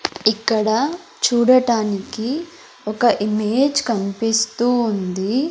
ఇక్కడ చూడటానికి ఒక ఇమేజ్ కన్పిస్తూ ఉంది.